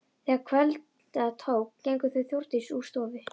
Þegar kvölda tók gengu þau Þórdís úr stofu.